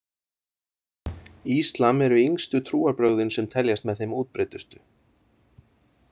Íslam eru yngstu trúarbrögðin sem teljast með þeim útbreiddustu.